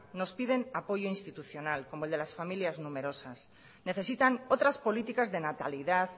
nos piden apoyo institucionalidad como el de las familias numerosas necesitan otras políticas de natalidad